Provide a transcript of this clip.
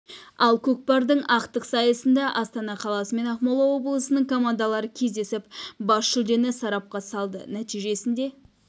ал көкпардың ақтық сайысында астана қаласы мен ақмола облысының командалары кездесіп бас жүлдені сарапқа салды нәтижесінде